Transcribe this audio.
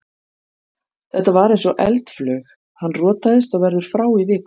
Þetta var eins og eldflaug, hann rotaðist og verður frá í viku.